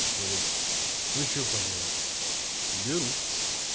говорит ну что поделать беру